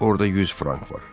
Orada 100 frank var.